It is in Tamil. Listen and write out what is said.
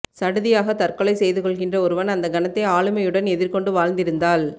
சடுதியாகத் தற்கொலை செய்து கொள்கின்ற ஒருவன் அந்தக் கணத்தை ஆளுமையுடன் எதிர்கொண்டு வாழ்ந்திருந்தால்